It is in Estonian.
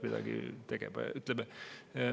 Midagi peaks tegema.